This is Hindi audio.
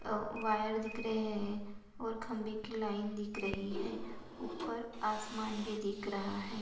औ वायर दिख रहे है और खम्बे की लाइन दिख रही है ऊपर आसमान भी दिख रहा हैं।